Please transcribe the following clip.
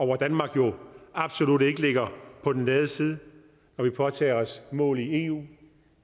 hvor danmark jo absolut ikke ligger på den lade side når vi påtager os mål i eu